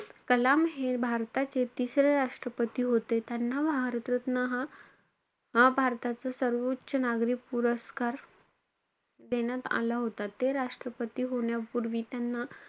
कलाम हे भारताचे तिसरे राष्ट्रपती होते. त्याना भारत रत्न हा भारताचा सर्वोच्च नागरिक पुरस्कार देण्यात आला होता. ते राष्ट्रपती होण्यापूर्वी त्यांना,